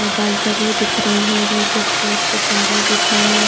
balcony दिख रही है नीचे फ्लोर पे पानी बिछा है--